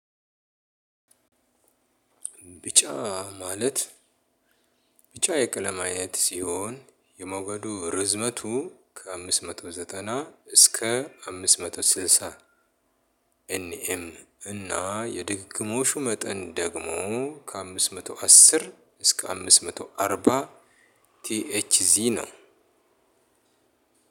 ቢጫ ማለት ቢጫ የቀለም አይነት ሲሆን የመውገዱ ርዝመቱ ከአምስት መቶ ዘጠና እስከ አምስት መቶ ስልሳ። ኤን ኤም እና የድግግሞሹ መጠን ደግሞ ከአምስት መቶ አስር እስከ አምስት መቶ አርባ ቲኤችዚ ነው።